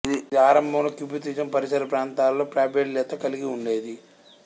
ఇది ఆరంభంలో కిబ్బుత్జిం పరిసర ప్రాంతాలలో ప్రాబల్యత కలిగి ఉండేది